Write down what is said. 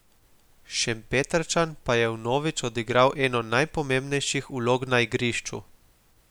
Šempetrčan pa je vnovič odigral eno najpomembnejših vlog na igrišču.